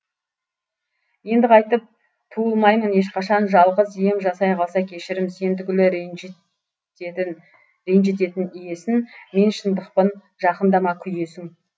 енді қайтып туылмаймын ешқашан жалғыз ием жасай қалса кешірім сен түгілі ренжітетін иесін мен шындықпын жақындама күйесің